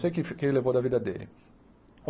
Não sei o que que ele levou da vida dele.